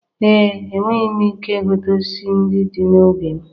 Ee, enweghị m ike ịgụta osisi ndị dị n'ubi m.